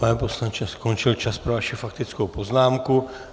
Pane poslanče, skončil čas pro vaši faktickou poznámku.